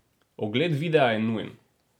Ogled videa je nujen.